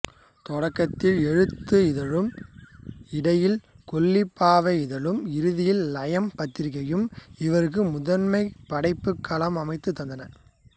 தொடக்கத்தில் எழுத்து இதழும் இடையில் கொல்லிப்பாவை இதழும் இறுதியில் லயம் பத்திரிகையும் இவருக்கு முதன்மையான படைப்புக் களம் அமைத்துத் தந்தன